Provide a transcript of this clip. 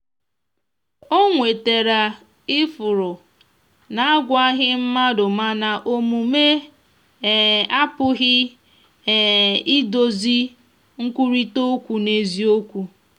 o nwetara ifụrụ na agwaghi madumana omume um apụghi um idozi nkwụrita okwụ n'eziokwu.